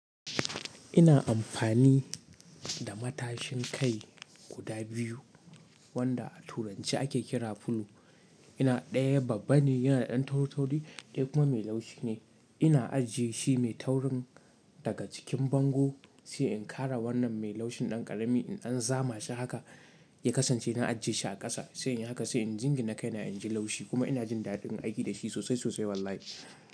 Ina amfani da matashin kai guda biyu wanda a turance ake kira fulo. Ina daya babba ne yanada da dan tauri-tauri, daya kuma me laushi ne ina ajiye shi mai taurin daga cikin bango sai in ƙara wannan mai laushin ɗan ƙarami in an zama shi haka ya kasance na ajjiye shi a ƙasa sai in haka sai injin na kai na inji laushi kuma ina jin daɗin aiki da shi sosai sosai wallahi.